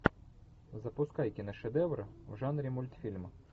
запускай киношедевры в жанре мультфильма